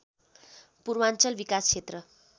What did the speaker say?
पूर्वाञ्चल विकास क्षेत्र